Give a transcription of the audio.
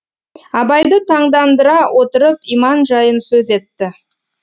абайды таңдандыра отырып иман жайын сөз етті